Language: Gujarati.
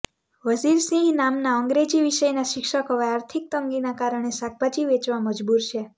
વઝિર સિંહ નામના અંગ્રેજી વિષયના શિક્ષક હવે આર્થિક તંગીના કારણે શાકભાજી વેચવા મજબૂર છે